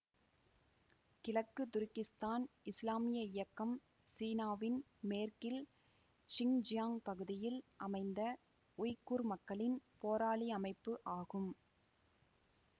கிழக்கு துருக்கிஸ்தான் இஸ்லாமிய இயக்கம் சீனாவின் மேற்கில் ஷின்ஜியாங் பகுதியில் அமைந்த உய்குர் மக்களின் போராளி அமைப்பு ஆகும்